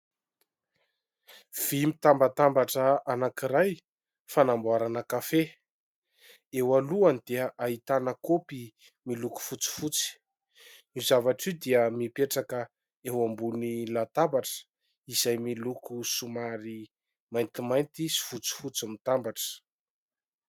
Vỳ mitambatambatra anankiray fanamboarana kafe. Eo alohany dia ahitana kaopy miloko fotsifotsy. Io zavatra io dia mipetraka eo ambony latabatra izay miloko somary maintimainty sy fotsifotsy mitambatra.